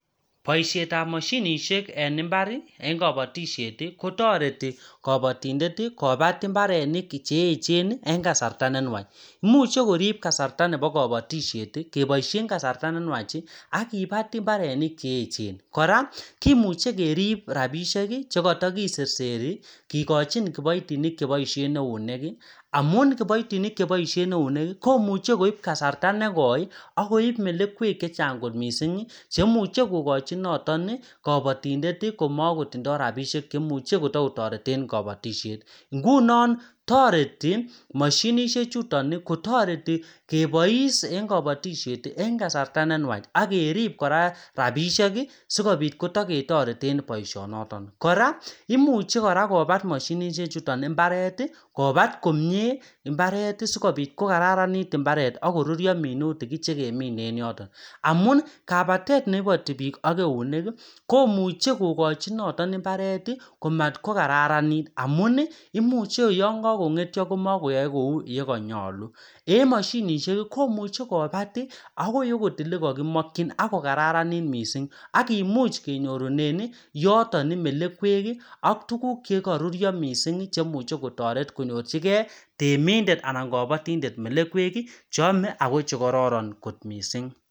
Boishetab moshinishek en mbari en kopotishet kotoreti kabotindet Kobat mbarenik cheecheni en kasarta nenwach imuche korib kasarta nepo kabotisheti keboishen kasarta nenwach akibat mbarenik cheechen kora kimuche kerib rapishek chekoto kiserseri kikochin kiboitinik cheboishen euneki amun kiboitinik cheboishen euneki komuche koip kasarta nekoi akoip melekwek chechang kot mising chemuche kokochi notoni kabotindet komokotindo rapishek chemuche kotokotoreten kabotishet ngunon toreti moshinishek chuto kotoreti kebois en kabotishet en kasarta nenwach akerip kora rapisheki sikopit kitoketoreten boishonoton kora imuche Kobat moshinishek chuton mbareti Kobat komie mbareti sikopit kokararanit mbaret ak korurio minutik chekemine en yoton amun kabatet nepoti biik ak euneki komuche kokochi noton mbareti komatkokaranit amun imucheyon kakongetio komokoyoe kou yekonyolu en moshinishek komuche Kobat akoi akot elekokimokyin ak kokararanit mising akimuch kenyorunen yotoni melekweki ak tuguk chekorurio mising cheimuche kotoreti konyor chikee temindet anan kabotindet melekweki choome Ako chekoron kot mising